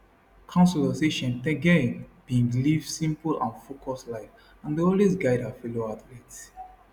councillors say cheptegei bin live simple and focused life and dey always guide her fellow athletes